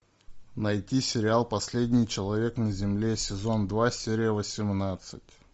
найти сериал последний человек на земле сезон два серия восемнадцать